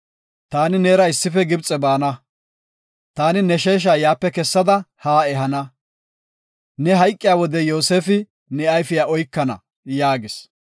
Taani neera issife Gibxe baana; taani ne sheesha yaape kessada haa ehana. Ne hayqiya wode Yoosefi ne ayfiya oykana” yaagis.